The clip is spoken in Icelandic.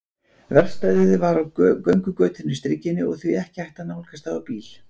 Verkstæðið var á göngugötunni Strikinu og því ekki hægt að nálgast það á bíl.